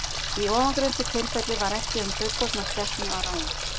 Í ofangreindu tilfelli var ekki um fullorðna skepnu að ræða.